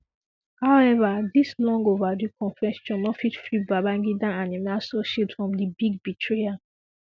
however dis long overdue confession no fit free Babangida and im associates from di big betrayal